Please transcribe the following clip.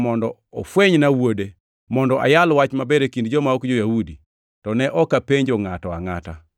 mondo ofwenyna Wuode, mondo ayal Wach Maber e kind joma ok jo-Yahudi, to ne ok apenjo ngʼato angʼata,